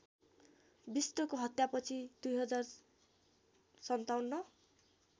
विष्टको हत्यापछि २०५७